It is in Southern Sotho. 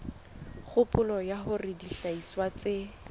kgopolo ya hore dihlahiswa tse